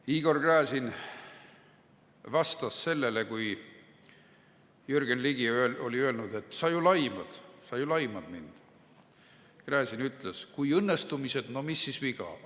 " Igor Gräzin vastas sellele, kui Jürgen Ligi oli öelnud, et sa ju laimad mind: "Kui õnnestumised, no mis siis viga!